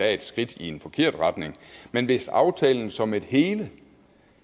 er et skridt i en forkert retning men hvis aftalen som et hele